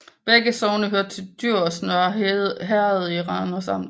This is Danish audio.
Begge sogne hørte til Djurs Nørre Herred i Randers Amt